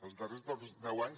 els darrers deu anys